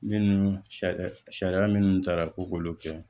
Minnu sariya sariya minnu taara ko k'olu kɛ